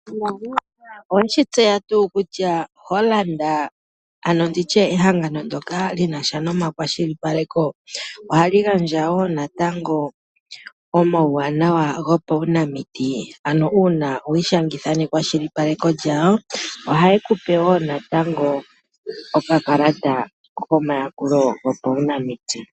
Oweshi tseya tuu kutya Hollard, ano nditye ehangano ndoka lina sha nomakwashilipaleko ohali gandja wo natango omauwanawa gopaunamiti, ano uuna wi ishangitha nekwashilipako lyawo, ohaye ku pe wo natango okakalata komayakulo kopaunamiti.